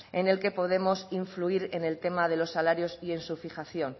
en el que podemos influir en el tema de los salarios y en su fijación